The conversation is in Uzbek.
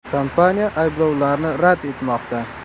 Kompaniya ayblovlarni rad etmoqda.